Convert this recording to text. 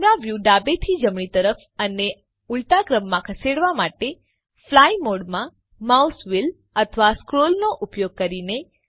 camera વ્યુને ડાબેથી જમણી તરફ અને ઉલટું ફેરવવા માટે છેલ્લી પ્ધતિ ફ્લાઈ મોડમાં સ્ક્રોલ કરી અથવા માઉસ વ્હીલ વાપરવું છે